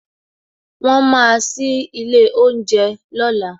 Won máa sí ilé oúnjẹ lọ́la